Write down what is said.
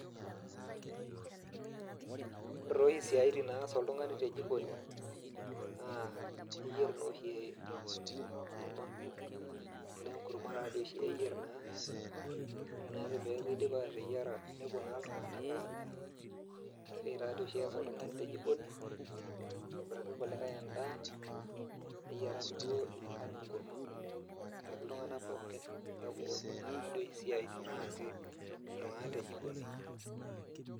Ore tooshi isiaitin naas oltung'ani te jikoni naa eyierr naa oshi enkurma, neeku enkurma naa oshi eyierr naa ore naake pee eeku idipa ateyiera nepuo naa iltung'anak adaa ina siai naa oshi ees oltung'ani te jikoni aitobiraki irkulikae endaa neyiaraki duo enkang' enkurma ayiaraki iltung'anak pookin, neeku ina taadoi oshi isiaitin naasi iltung'anak te jikoni.